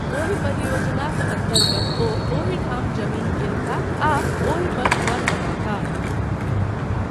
ओहि परियोजनाक अन्तर्गत ओ ओहि ठाम जमीन कीनताह आ ओहि पर घर बनौताह।